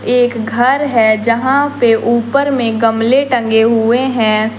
एक घर है जहां पे ऊपर में गमले टंगे हुए हैं।